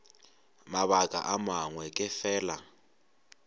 mabaka a mangwe ke fela